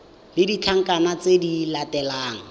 le ditlankana tse di latelang